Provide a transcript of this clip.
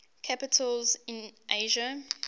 capitals in asia